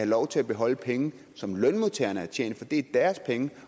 lov til at beholde penge som lønmodtagerne har tjent for det er deres penge